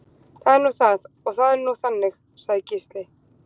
Það er nú það og það er nú þannig, sagði Gísli.